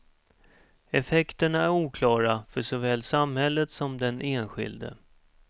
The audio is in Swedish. Effekterna är oklara för såväl samhället som den enskilde.